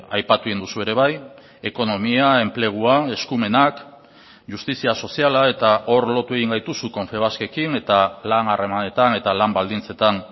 aipatu egin duzu ere bai ekonomia enplegua eskumenak justizia soziala eta hor lotu egin gaituzu confebaskekin eta lan harremanetan eta lan baldintzetan